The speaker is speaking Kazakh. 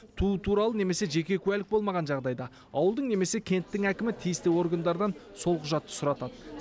туу туралы немесе жеке куәлік болмаған жағдайда ауылдың немесе кенттің әкімі тиісті органдардан сол құжатты сұратады